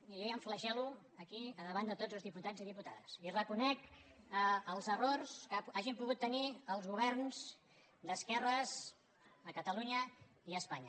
jo ja em flagel·lo aquí a davant de tots els diputats i diputades i reconec els errors que hagin pogut tenir els governs d’esquer·res a catalunya i espanya